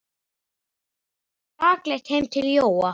Þeir fóru rakleitt heim til Jóa.